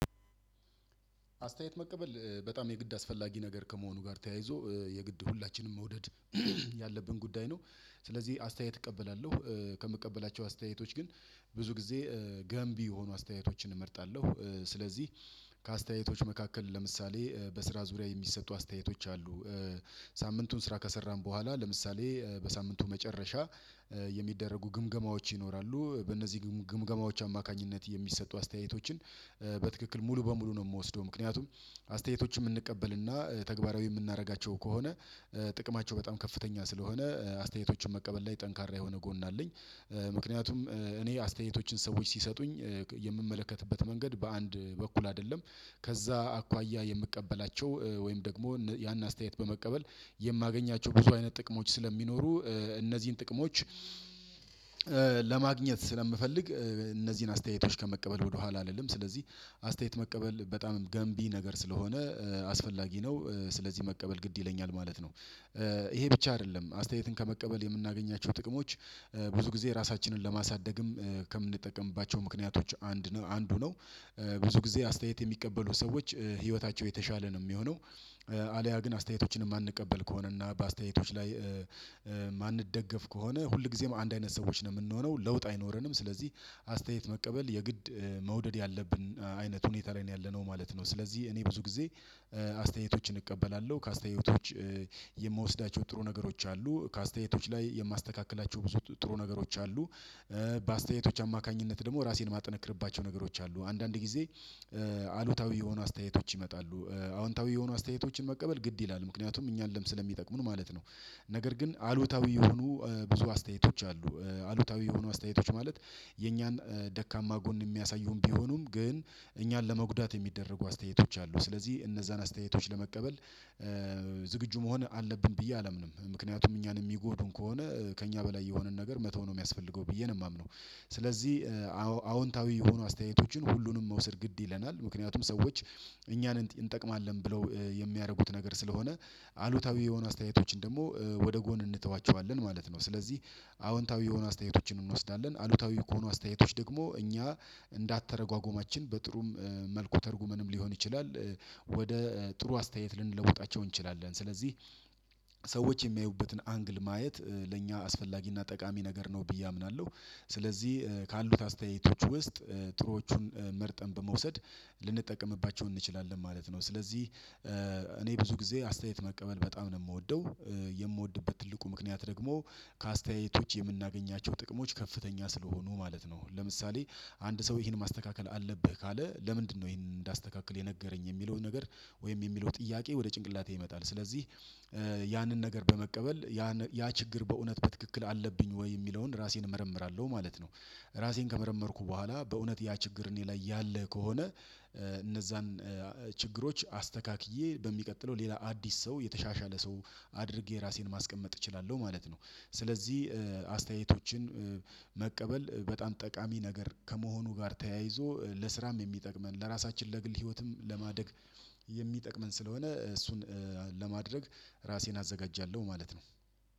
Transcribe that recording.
አስተያየት መቀበል በጣም የግድ አስፈላጊ ነገር ከመሆኑ ጋር ተያይዞ የግድ ሁላችንም መውደድ ያለብን ጉዳይ ነው። ስለዚህ አስተያየት እቀበላለሁ ከምቀበላቸው አስተያየቶች ግን ብዙ ጊዜ ገንቢ የሆኑ አስተያየቶችን እመርጣለሁ። ስለዚህ ከአስተያየቶች መካከል ለምሳሌ በስራ ዙሪያ የሚሰጡ አስተያየቶች አሉ። ሳምንቱን ስራ ከሰራን በኋላ ለምሳሌ በሳምንቱ መጨረሻ የሚደረጉ ግምገማዎች ይኖራሉ። በእነዚህ ግምገማዎች አማካኝነት የሚሰጡ አስተያየቶችን በትክክል ሙሉ በሙሉ ነው የምወስደው ምክንያቱም አስተያየቶችን የምንቀበልና ተግባራዊ የምናደርጋቸው ከሆነ። ጥቅማቸው በጣም ከፍተኛ ስለሆነ አስተያየቶቹን መቀበል ላይ ጠንካራ የሆነ ጎን አለኝ። ምክንያቱም እኔ አስተያየቶችን ሰዎች ሲሰጡኝ የምመለከትበት መንገድ በአንድ በኩል አይደለም። ከዚያ አኳያ የምቀበላቸው ወይም ደግሞ ያን አስተያየት በመቀበል የማገኛቸው ብዙ አይነት ጥቅሞች ስለሚኖሩ እነዚህን ጥቅሞች ለማግኘት ስለምፈልግ እነዚህን አስተያየቶች ከመቀበል ወደኋላ አልልም። ስለዚህ አስተያየት መቀበል በጣም ገንቢ ነገር ስለሆነ አስፈላጊ ነው ስለዚህ መቀበል ግድ ይለኛል ማለት ነው። ይሄ ብቻ አይደለም አስተያየትን ከመቀበል የምናገኛቸው ጥቅሞች ብዙ ጊዜ ራሳችንን ለማሳደግም ከምንጠቀምባቸው ምክንያቶች አንድ ነው አንዱ ነው። ብዙ ጊዜ አስተያየት የሚቀበሉ ሰዎች ህይወታቸው የተሻለ ነው የሚሆነው። አልያ ግን አስተያየቶችን ማንቀበል ከሆነና በአስተያየቶች ላይ የማንደገፍ ከሆነ ሁልጊዜም አንድ አይነት ሰዎች ነው የምንሆነው ለውጥ አይኖረንም። ስለዚህ አስተያየት መቀበል የግድ መውደድ ያለብን አይነት ሁኔታ ላይ ነው ያለነው ማለት ነው። ስለዚህ እኔ ብዙ ጊዜ አስተያየቶችን እቀበላለሁ ከአስተያየቶች የምወስዳቸው ጥሩ ነገሮች አሉ ከአስተያየቶች ላይ የማስተካክላቸው ብዙ ጥሩ ነገሮች አሉ። በአስተያየቶች አማካኝነት ደግሞ ራሴን ማጠነክርባቸው ነገሮች አሉ አንዳንድ ጊዜ አሉታዊ የሆኑ አስተያየቶች ይመጣሉ አዎንታዊ የሆኑ አስተያየቶችን መቀበል ግድ ይላል ምክንያቱም እኛንም ስለሚጠቅሙን ማለት ነው። ነገር ግን አሉታዊ የሆኑ ብዙ አስተያየቶች አሉ አሉታዊ የሆኑ አስተያየቶች ማለት የኛን ደካማ ጎን የሚያሳዩም ቢሆኑም ግን እኛን ለመጉዳት የሚደረጉ አስተያየቶች አሉ። ስለዚህ እነዚያን አስተያየቶች ለመቀበል ዝግጁ መሆን አለብን ብዬ አላምንም ምክንያቱም እኛን የሚጎዱን ከሆነ ከእኛ በላይ የሆነን ነገር መተው ነው የሚያስፈልገው ብዬ ነው የማምነው። ስለዚህ አዎንታዊ የሆኑ አስተያየቶችን ሁሉንም መውሰድ ግድ ይለናል ምክንያቱም ሰዎች እኛን እንጠቅማለን ብለው የሚያደርጉት ነገር ስለሆነ አሉታዊ የሆኑ አስተያየቶችን ደግሞ ወደ ጎን እንተዋቸዋለን ማለት ነው። ስለዚህ አዎንታዊ የሆነ አስተያየቶችን እንወስዳለን አሉታዊ ከሆኑ አስተያየቶች ደግሞ እኛ እንዳአተረጓጎማችን በጥሩም መልኩ ተርጉመንም ሊሆን ይችላል። ወደ ጥሩ አስተያየት ልንለውጣቸው እንችላለን ስለዚህ ሰዎች የሚያዩበትን አንግል ማየት ለእኛ አስፈላጊና ጠቃሚ ነገር ነው ብዬ አምናለሁ። ስለዚህ ካሉት አስተያየቶች ውስጥ ጥሩዎቹን መርጠን በመውሰድ ልንጠቀምባቸው እንችላለን ማለት ነው። ስለዚህ እኔ ብዙ ጊዜ አስተያየት መቀበል በጣም ነው የምወደው የምወድበት ትልቁ ምክንያት ደግሞ ከአስተያየቶች የምናገኛቸው ጥቅሞች ከፍተኛ ስለሆኑ ማለት ነው። ለምሳሌ አንድ ሰው ይሄን ማስተካከል አለብህ ካለ ለምንድነው? ይሄንን እንዳስተካክል የነገረኝ የሚለው ነገር ወይም የሚለው ጥያቄ ወደ ጭንቅላቴ ይመጣል ስለዚህ ያንን ነገር በመቀበል ያን ያችግር በእውነት በትክክል አለብኝ ወይ የሚለውን ራሴን እመረምራለሁ ማለት ነው። ራሴን ከመረመርኩ በኋላ በእውነት ያችግር እኔ ላይ ያለ ከሆነ እነዚያን ችግሮች አስተካክዬ በሚቀጥለው ሌላ አዲስ ሰው የተሻሻለ ሰው አድርጌ ራሴን ማስቀመጥ እችላለሁ ማለት ነው። ስለዚህ አስተያየቶችን መቀበል በጣም ጠቃሚ ነገር ከመሆኑ ጋር ተያይዞ ለስራም የሚጠቅመን ለራሳችን ለግል ህይወትም ለማደግ የሚጠቅመን ስለሆነ እሱን ለማድረግ ራሴን አዘጋጃለሁ ማለት ነው